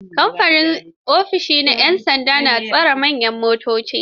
Ƙaramin ofishi ne da 'yan sanda a tashar manyan motoci.